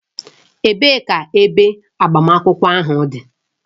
Ebee ka ebe agbamakwụkwọ ahụ dị?